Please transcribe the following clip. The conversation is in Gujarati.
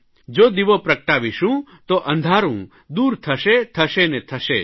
જો દીવો પ્રગટાવીશું તો અંધારૂં દૂર થશે થશે ને થશે જ